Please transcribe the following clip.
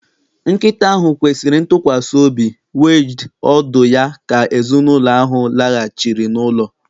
Nkịta ahụ kwesịrị ntụkwasị obi wagged ọdụ ya ka ezinụlọ ahụ laghachiri n'ụlọ.